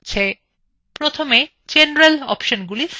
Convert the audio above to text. প্রথমে general অপশনগুলি set করা যাক